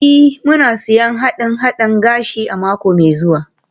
Ee, muna siyan haɗe-haɗen gashi a mako mai zuwa.